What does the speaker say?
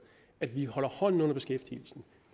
at vi holder hånden under beskæftigelsen